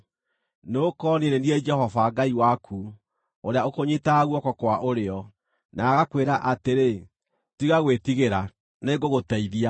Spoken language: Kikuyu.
Nĩgũkorwo niĩ nĩ niĩ Jehova, Ngai waku, ũrĩa ũkũnyiitaga guoko kwa ũrĩo, na agakwĩra atĩrĩ, Tiga gwĩtigĩra; nĩngũgũteithia.